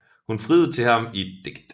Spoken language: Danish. Hun friede til ham i et digt